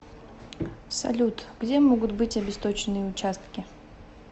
салют где могут быть обесточенные участки